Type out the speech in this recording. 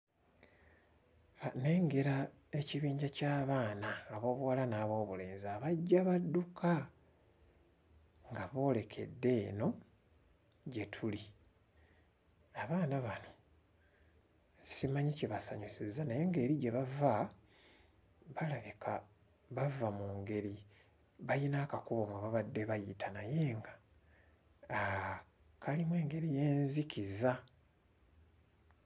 Nnengera ekibinja ky'abaana ab'obuwala n'ab'obulenzi abajja badduka nga boolekedde eno gye tuli. Abaana bano simanyi kibasanyusizza naye ng'eri gye bava, balabika bava mu ngeri bayina akakubo mwe babadde bayita naye nga kalimu engeri y'enzikiza.